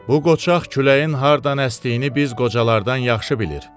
Bu qoçaq küləyin hardan əsdiyini biz qocalardan yaxşı bilir.